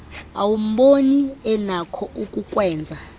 awumboni enakho ukukwenza